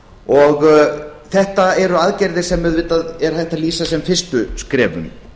og þetta eru aðgerðir sem auðvitað er hægt að lýsa sem fyrstu skrefum